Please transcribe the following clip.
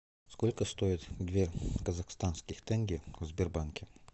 сколько стоит две казахстанских тенге в сбербанке